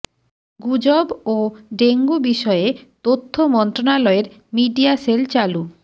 গুজব ও ডেঙ্গু বিষয়ে তথ্য মন্ত্রণালয়ের মিডিয়া সেল চালু